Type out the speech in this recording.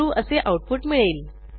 true असे output मिळेल